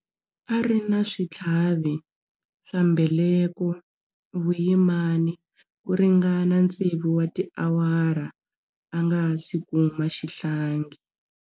A ri na switlhavi swa mbeleko vuyimani ku ringana tsevu wa tiawara a nga si kuma xihlangi.